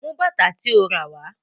Mú bàtà tí o ràwá.